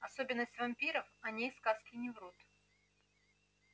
особенность вампиров о ней сказки не врут